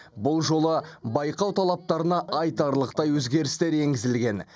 бұл жолы байқау талаптарына айтарлықтай өзгерістер енгізілген